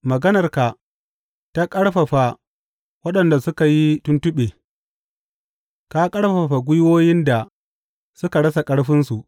Maganarka ta ƙarfafa waɗanda suka yi tuntuɓe; ka ƙarfafa gwiwoyin da suka rasa ƙarfinsu.